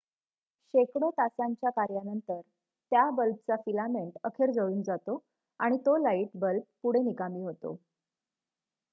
शेकडो तासांच्या कार्यानंतर त्या बल्बचा फिलामेंट अखेर जळून जातो आणि तो लाईट बल्ब पुढे निकामी होतो